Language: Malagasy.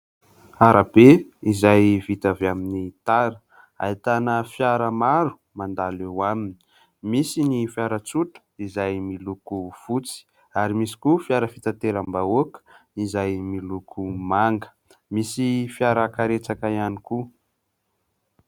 Arabe izay vita avy amin'ny tara ahitana fiara maro mandalo eo aminy misy ny fiara tsotra izay miloko fotsy ary misy koa fiara fitaterambahoaka izay miloko manga, misy fiarakaretsaka ihany koa.